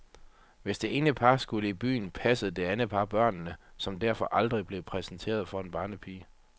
Hvis det ene par skulle i byen, passede det andet par børnene, som derfor aldrig blev præsenteret for en barnepige.